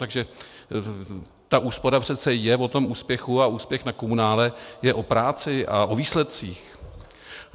Takže ta úspora přece je o tom úspěchu a úspěch na komunále je o práci a o výsledcích.